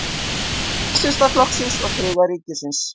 Nasistaflokksins og Þriðja ríkisins.